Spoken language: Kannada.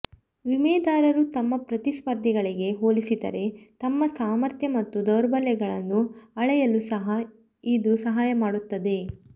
ವಿಮೆದಾರರು ತಮ್ಮ ಪ್ರತಿಸ್ಪರ್ಧಿಗಳಿಗೆ ಹೋಲಿಸಿದರೆ ತಮ್ಮ ಸಾಮರ್ಥ್ಯ ಮತ್ತು ದೌರ್ಬಲ್ಯಗಳನ್ನು ಅಳೆಯಲು ಸಹ ಇದು ಸಹಾಯ ಮಾಡುತ್ತದೆ